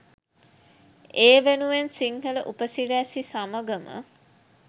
ඒ වෙනුවෙන් සිංහල උපසිරැසි සමඟම